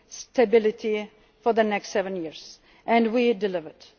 stability for the next seven years and we delivered.